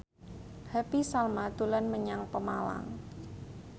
Happy Salma dolan menyang Pemalang